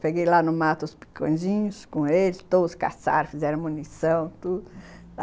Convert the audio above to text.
Peguei lá no mato os picõezinhos, com eles, todos caçaram, fizeram munição, tudo.